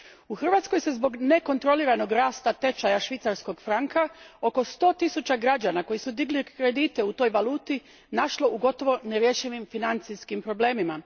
U Hrvatskoj se zbog nekontroliranog rasta tečaja švicarskog franka oko sto tisuća građana koji su digli kredite u toj valuti našlo u gotovo nerješivim financijskim problemima.